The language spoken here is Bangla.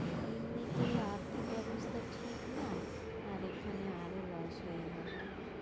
এমনিতেই আর্থিক ব্যবস্তা ঠিক না, আর এখানে আরো loss গেলো